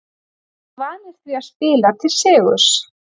Við vorum vanir því að spila til sigurs.